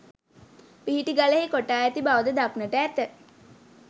පිහිටි ගලෙහි කොටා ඇති බවද දක්නට ඇත